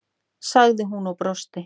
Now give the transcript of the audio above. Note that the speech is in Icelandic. sagði hún og brosti.